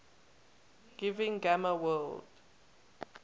giving gamma world